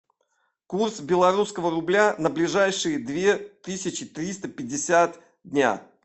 курс белорусского рубля на ближайшие две тысячи триста пятьдесят дня